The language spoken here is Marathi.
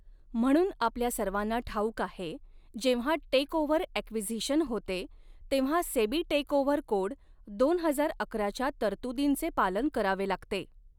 म्हणून आपल्या सर्वांना ठाऊक आहे जेव्हा टेकओव्हर ॲक्विझिशन होते तेव्हा सेबी टेकओव्हर कोड दोन हजार अकराच्या तरतुदींचे पालन करावे लागते.